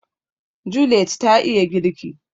Juliet ta iya girki